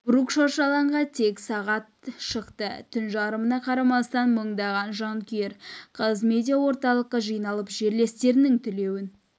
брук шаршы алаңға тек сағат шықты түн жарымына қарамастан мыңдаған жанкүйер қазмедиаорталыққа жиналып жерлестерінің тілеуін